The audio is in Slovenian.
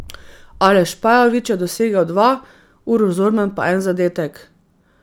Aleš Pajovič je dosegel dva, Uroš Zorman pa en zadetek.